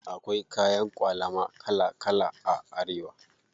Akwai kayan ƙwalama kala kala a Arewa.